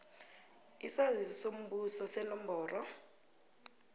isaziso sombuso senomboro